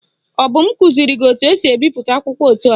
Ọ bụ kụziri gị etu esi ebipụta akwụkwọ etu a?